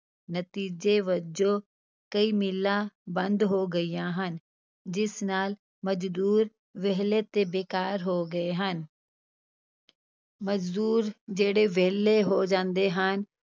ਨਤੀਜੇ ਵਜੋਂ ਕਈ ਮਿੱਲਾਂ ਬੰਦ ਹੋ ਗਈਆਂ ਹਨ ਜਿਸ ਨਾਲ ਮਜ਼ਦੂਰ ਵਿਹਲੇ ਤੇ ਬੇਕਾਰ ਹੋ ਗਏ ਹਨ ਮਜ਼ਦੂਰ ਜਿਹੜੇ ਵਿਹਲੇ ਹੋ ਜਾਂਦੇ ਹਨ,